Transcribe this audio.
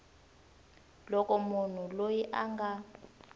loko munhu loyi a nga